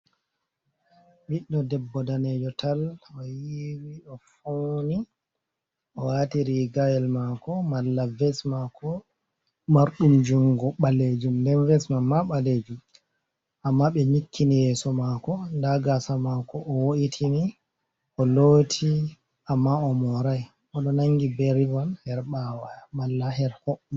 Ɓiɗɗo debbo danejo tal o yiwi o funi o watiri gayel mako mala vesmako mardumjungo balejum nden vesmam ma balejum amma be nyikkini yeso mako dagasa mako o wo’itini o loti amma o morai odo nangi berivol her bawa mala her ko.